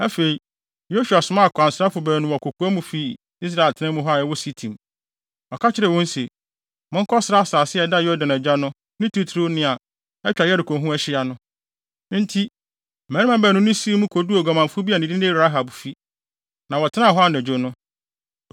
Afei, Yosua somaa akwansrafo baanu wɔ kokoa mu fii Israelfo atenae a ɛwɔ Sitim. Ɔka kyerɛɛ wɔn se, “Monkɔsra asase a ɛda Yordan agya no, ne titiriw nea atwa Yeriko ho ahyia no.” Enti, mmarima baanu no sii mu koduu oguamanfo bi a ne din de Rahab fi, na wɔtenaa hɔ anadwo no.